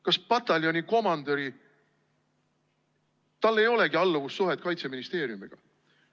" Kas pataljoni komandöril ei olegi alluvussuhet Kaitseministeeriumiga?